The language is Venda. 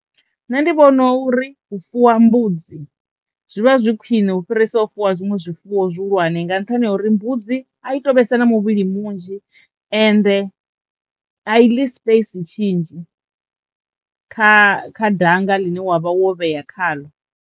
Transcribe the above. Nṋe ndi vhona uri u fuwa mbudzi zwivha zwi khwiṋe u fhirisa u fuwa zwiṅwe zwifuwo zwihulwane nga nṱhani ha uri mbudzi a i to vhesa na muvhili munzhi ende a i ḽi sipeisi tshinzhi kha kha danga ḽine wavha wo vhea kha ḽo.